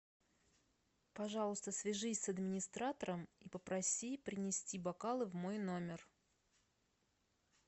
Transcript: пожалуйста свяжись с администратором и попроси принести бокалы в мой номер